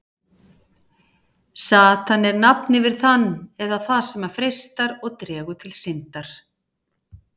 satan er nafn yfir þann eða það sem freistar og dregur til syndar